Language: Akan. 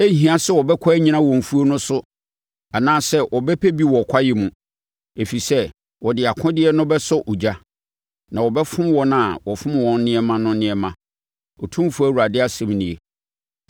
Ɛrenhia sɛ wɔbɛkɔ anyina wɔ mfuo no so anaasɛ wɔbɛpɛ bi wɔ kwaeɛ mu, ɛfiri sɛ wɔde akodeɛ no bɛsɔ ogya. Na wɔbɛfom wɔn a wɔfom wɔn nneɛma no nneɛma, Otumfoɔ Awurade asɛm nie.